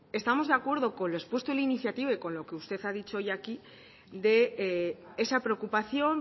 estamos de acuerdo con lo expuesto en la iniciativa y con lo que usted ha dicho hoy aquí de esa preocupación